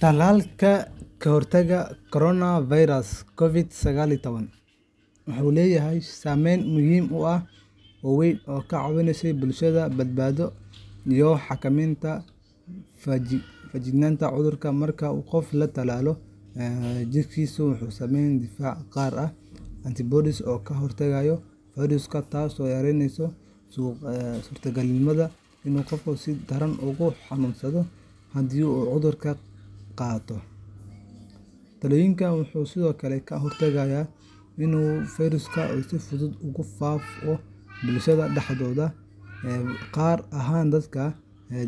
Tallaalka ka hortagga coronavirus COVID-19 wuxuu leeyahay saameyn muhiim ah oo weyn oo ka caawisay bulshada badbaado iyo xakameynta faafitaanka cudurka. Marka qof la tallaalo, jirkiisu wuxuu sameeyaa difaac gaar ah antibodies oo ka hortaga fayraska, taasoo yareyneysa suurtagalnimada in qofku si daran ugu xanuunsado haddii uu cudurka qaado. Tallaalku wuxuu sidoo kale ka hortagaa in fayrasku si fudud ugu faafo bulshada dhexdeeda, gaar ahaan dadka